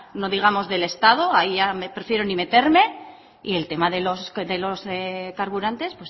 no digamos del estado ahí ya prefiero ni meterme y el tema de los carburantes